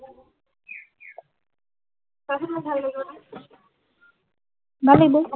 চা চোন মোক ভাল লাগিব নাই ভাল লাগিব